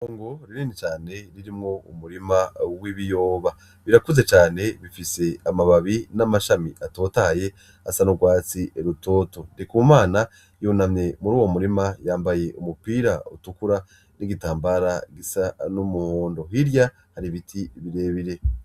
Itongo rinini cane ririmwo umurima w'ibiyoba , birakuze cane bifise amababi n'amashami atotahaye asa n'urwatsi rutoto . Ndikumana yunamye mur'uwo murima yambaye umupira utukura n'igitambara gisa n'umuhondo . Hirya har'ibiti birebire .